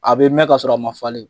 A bɛ mɛn ka sɔrɔ a ma falen!